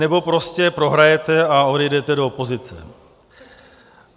Nebo prostě prohrajete a odejdete do opozice.